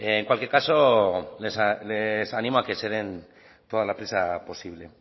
en cualquier caso les animo a que se den toda la prisa posible